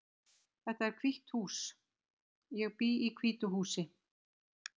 Þetta hús er hvítt. Ég bý í hvítu húsi.